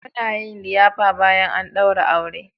Muna yin liyafa bayan an daura aure.